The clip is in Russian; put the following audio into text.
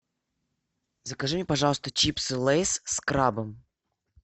закажи мне пожалуйста чипсы лейс с крабом